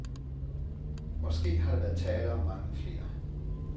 Måske har der været tale om mange flere.